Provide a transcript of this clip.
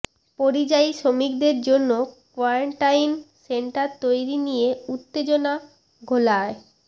পরিযায়ী শ্রমিকদের জন্য কোয়ারেন্টাইন সেন্টার তৈরি নিয়ে উত্তেজনা ঘোলায়